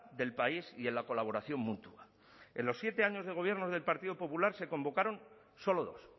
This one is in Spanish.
del país y en la colaboración mutua en los siete años de gobiernos del partido popular se convocaron solo dos